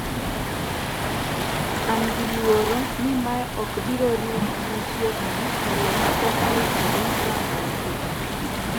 "an gi luoro ni mae okbirorumo machiegni to loch pok oikre rango weche gi